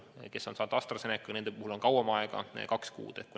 Nende puhul, kes on saanud AstraZenecat, on kauem aega, kaks kuud.